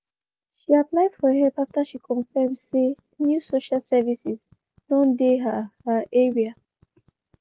she apply for help after she confirmn say new social services don dey her her area.